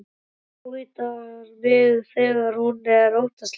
Ávítar mig þegar hún er óttaslegin.